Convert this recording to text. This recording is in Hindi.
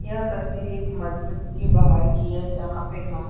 यह तस्वीर एक मस्जिद के बाहर की है जहाँ पे हम --